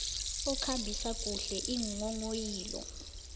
okhambisa kuhle iinghonghoyilo